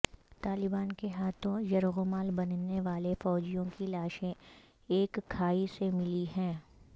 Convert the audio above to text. طالبان کے ہاتھوں یرغمال بننے والے فوجیوں کی لاشیں ایک کھائی سے ملی ہیں